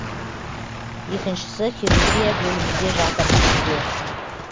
екіншісі хирургия бөлімінде жатыр бізде